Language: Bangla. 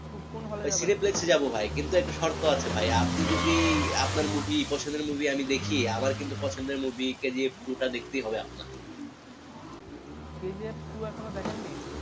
কুন্ hall এ যাবেন এ যাবো ভাই কিন্তু একটা শর্ত আছে ভাই আপনি যদি আপনার movie পছন্দের movie আমি দেখি আমার কিন্তু পছন্দের movie K G F two দেখতেই হবে আপনার কে জি এফ টু এখনো দেখেন নি?